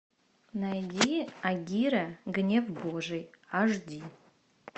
найди агира гнев божий аш ди